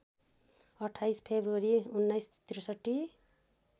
२८ February १९६३